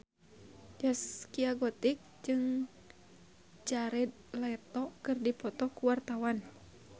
Zaskia Gotik jeung Jared Leto keur dipoto ku wartawan